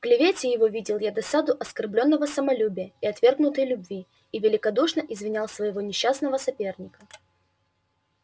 в клевете его видел я досаду оскорблённого самолюбия и отвергнутой любви и великодушно извинял своего несчастного соперника